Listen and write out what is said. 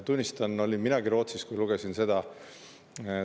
Tunnistan, ma olin Rootsis, kui lugesin seda.